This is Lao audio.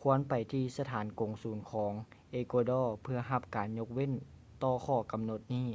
ຄວນໄປທີ່ສະຖານກົງສູນຂອງເອກົວດໍ ເພື່ອຮັບການຍົກເວັ້ນຕໍ່ຂໍ້ກຳນົດນີ້